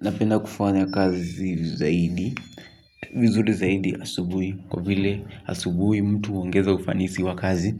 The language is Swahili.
Napenda kufanya kazi zaidi, vizuri zaidi asubuhi kwa vile asubuhi mtu huongeza ufanisi wa kazi.